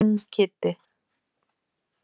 King Kiddi.